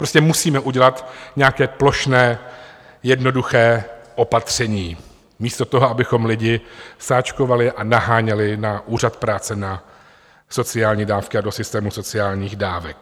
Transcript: Prostě musíme udělat nějaké plošné jednoduché opatření místo toho, abychom lidi sáčkovali a naháněli na Úřad práce na sociální dávky a do systému sociálních dávek.